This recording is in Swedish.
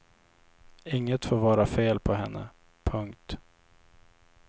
Inget får vara fel på henne. punkt